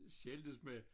Skændtes med